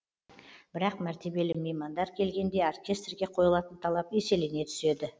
бірақ мәртебелі меймандар келгенде оркестрге қойылатын талап еселене түседі